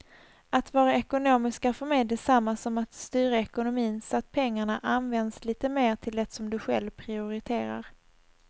Att vara ekonomisk är för mig detsamma som att styra ekonomin så att pengarna används lite mer till det som du själv prioriterar.